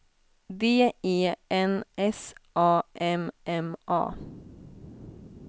D E N S A M M A